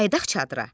Qayıdaq çadıra.